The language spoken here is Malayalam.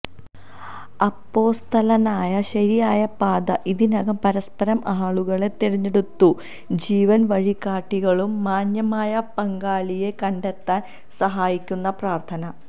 അപ്പൊസ്തലനായ ശരിയായ പാത ഇതിനകം പരസ്പരം ആളുകളെ തിരഞ്ഞെടുത്തു ജീവൻ വഴികാട്ടികളും മാന്യമായ പങ്കാളിയെ കണ്ടെത്താൻ സഹായിക്കുന്ന പ്രാർഥന